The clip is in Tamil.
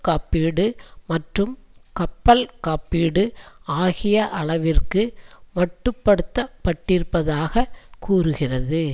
காப்பீடு மற்றும் கப்பல் காப்பீடு ஆகிய அளவிற்கு மட்டுப்படுத்தப்பட்டிருப்பதாக கூறுகிறது